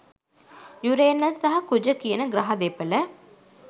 Uranus සහ කුජ කියන ග්‍රහ දෙපළ